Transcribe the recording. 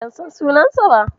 Ban san sunansa ba.